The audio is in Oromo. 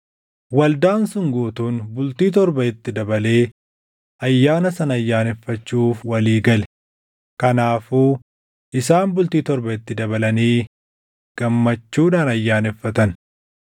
Waldaan sun guutuun bultii torba itti dabalee ayyaana sana ayyaaneffachuuf walii gale; kanaafuu isaan bultii torba itti dabalanii gammachuudhaan ayyaaneffatan.